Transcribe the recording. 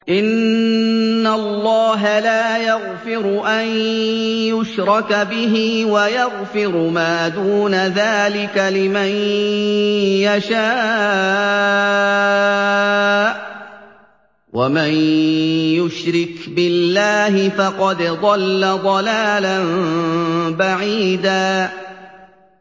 إِنَّ اللَّهَ لَا يَغْفِرُ أَن يُشْرَكَ بِهِ وَيَغْفِرُ مَا دُونَ ذَٰلِكَ لِمَن يَشَاءُ ۚ وَمَن يُشْرِكْ بِاللَّهِ فَقَدْ ضَلَّ ضَلَالًا بَعِيدًا